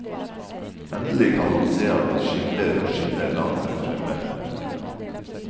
Endelig kan han se at det skimrer og skinner langt der fremme. punktum